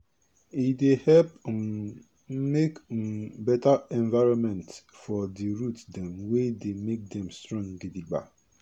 e dey help um make um better environmentfor di root dem wey dey make dem strong gidigba